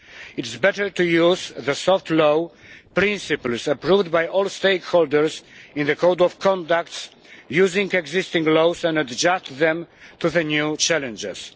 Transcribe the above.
It is better to use the soft law principles approved by all stakeholders in the Code of Conduct, using existing laws and adjusting them to the new challenges.